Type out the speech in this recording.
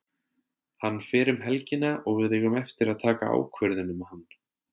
Hann fer um helgina og við eigum eftir að taka ákvörðun um hann.